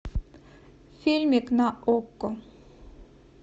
фильмик на окко